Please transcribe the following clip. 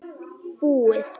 Búið